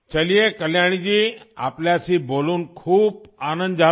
चलिए कल्याणी जी आपसे बात करके बहुत ख़ुशी हुई